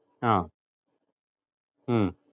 ആഹ് ഉം